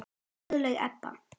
Guðlaug Edda.